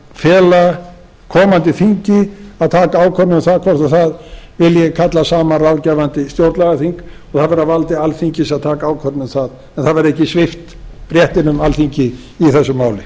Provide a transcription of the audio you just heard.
að fela komandi þingi að taka ákvörðun um það hvort það vilji kalla saman ráðgefandi stjórnlagaþing og það verði á valdi alþingis að taka ákvörðun um það en alþingi verði ekki svipt réttinum í þessu máli